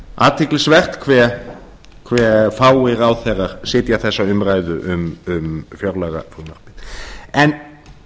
athyglisvert hve fáir ráðherrar sitja þessa umræðu um fjárlagafrumvarpið en